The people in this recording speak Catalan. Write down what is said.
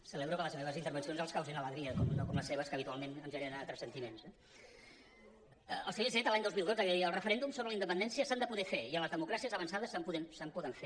celebro que les meves intervencions els causin alegria no com les seves que habitualment ens generen altres sentiments no el senyor iceta l’any dos mil dotze deia els referèndums sobre la independència s’han de poder fer i en les democràcies avançades se’n poden fer